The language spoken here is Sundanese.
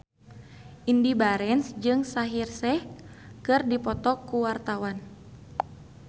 Indy Barens jeung Shaheer Sheikh keur dipoto ku wartawan